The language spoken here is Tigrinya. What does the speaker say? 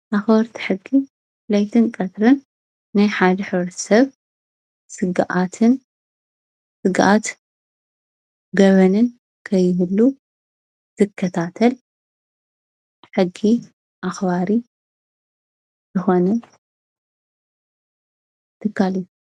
ኣክበርቲ ሕጊ ለይትን ቀትርን ናይ ሓደ ሕብረተ ሰብ ስግኣትን ገበንን ከይህሉ ዝከታተል ሕጊ ኣክባሪ ዝኮነ ትካል እዩ፡፡